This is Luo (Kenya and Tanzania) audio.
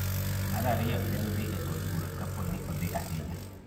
Mar ariyo en dhi e od bura kapo ni odhi ahinya